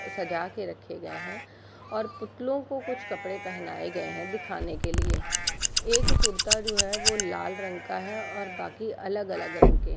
सजा के रखे गए है और पुतलो को कुछ कपड़े पहनाए गए हैं दिखाने के लिए एक कुरता जो है वो लाल रंग का है और बाकी अलग-अलग रंग के --